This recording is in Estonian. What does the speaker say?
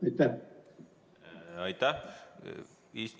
Aitäh!